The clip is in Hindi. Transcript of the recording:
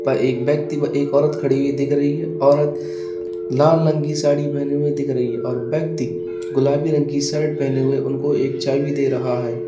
एक व्यक्ति व एक औरत खड़ी हुई दिख रही है। औरत लाल रंग की साड़ी पहने हुए दिख रही है और व्यक्ति गुलाबी रंग की शर्ट पहने हुए उनको एक चाबी दे रहा है।